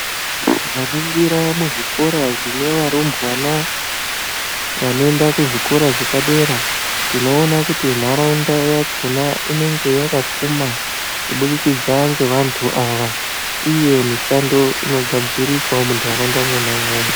Tikaningira muzvikora zvine varumbwana vanoenda kuzvikora zvepadera tinoona kuti nharaunda yachona inenge yakapfumwa kubudikidza ngevantu ava uye mishando inogadzirikawo mundaraunda mwona imomo.